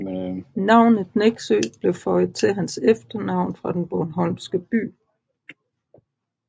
Navnet Nexø blev føjet til hans efternavn fra den bornholmske by